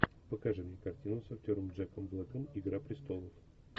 покажи мне картину с актером джеком блэком игра престолов